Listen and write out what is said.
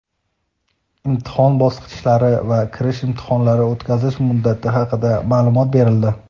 imtihon bosqichlari va kirish imtihonlarini o‘tkazish muddati haqida ma’lumot berildi.